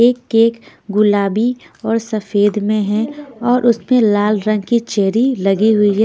एक केक गुलाबी और सफेद में है और उसमें लाल रंग की चेरी लगी हुई है।